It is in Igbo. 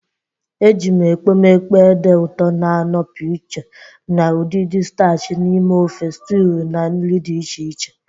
Ejiri m ekpomekpo ede ụtọ na-anọpụ iche na udidi starchi n'ime ofe, stiwu, na nri dị iche iche.